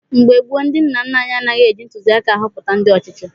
Mgbe gboo, ndị nna nna anyị anaghị eji ntuliaka ahọpụta ndị ọchịchị.